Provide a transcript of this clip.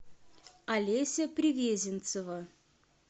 олеся привезенцева